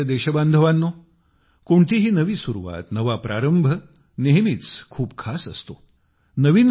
माझ्या प्रिय देशबांधवांनो कोणतीही नवी सुरुवात नवा प्रारंभ नेहमीच खूप खास असतो